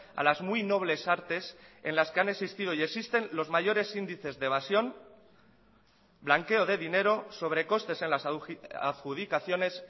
a las muy nobles artes en las que han existido y existen los mayores índices de evasión blanqueo de dinero sobrecostes en las adjudicaciones